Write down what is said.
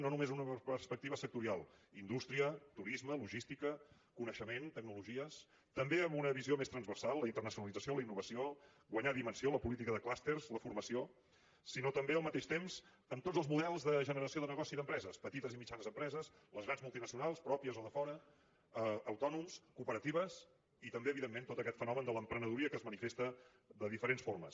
no només des d’una perspectiva sectorial indústria turisme logística coneixement tecnologies també amb una visió més transversal la internacionalització la innovació guanyar dimensió la política de clústers la formació sinó també al mateix temps en tots els models de generació de negoci d’empreses petites i mitjanes empreses les grans multinacionals pròpies o de fora autònoms cooperatives i també evidentment tot aquest fenomen de l’emprenedoria que es manifesta de diferents formes